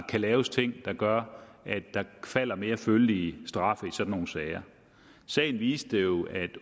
kan laves ting der gør at der falder mere følelige straffe i sådan nogle sager sagen viste jo at